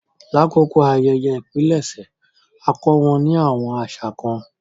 Làkókó ayẹyẹ ìpilẹ̀ṣẹ̀, a kọ wọn ni awọn aṣa kan.